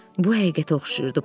Bu həqiqətə oxşayırdı.